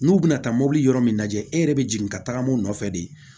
N'u bɛna taa mobili yɔrɔ min lajɛ e yɛrɛ bɛ jigin ka tagama o nɔfɛ de